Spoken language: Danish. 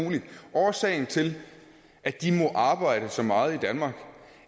årsagen til at de må arbejde så meget i danmark